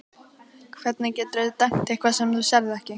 Hvernig geturðu dæmt eitthvað sem þú sérð ekki?